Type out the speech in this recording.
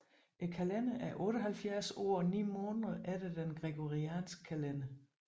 Kalenderen er 78 år og 9 måneder efter den gregorianske kalender